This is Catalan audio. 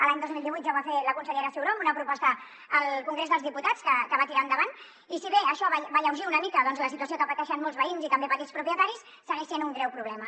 l’any dos mil divuit ja ho va fer la consellera ciuró amb una proposta al congrés dels diputats que va tirar endavant i si bé això va alleujar una mica la situació que pateixen molts veïns i també petits propietaris segueix sent un greu problema